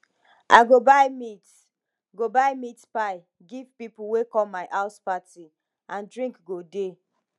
i go buy meat go buy meat pie give people wey come my house party and drink go dey